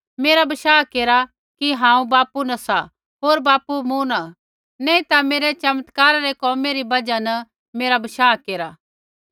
मेरा बशाह केरा कि हांऊँ बापू न सा होर बापू मूँ न सा नैंई ता मेरै चमत्कारै रै कोमै री बजहा न मेरा बशाह केरा